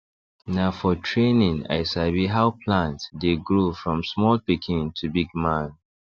na for training i sabi how plant dey grow from small pikin to big man